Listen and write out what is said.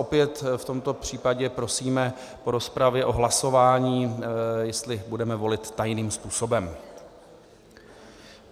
Opět v tomto případě prosíme po rozpravě o hlasování, jestli budeme volit tajným způsobem.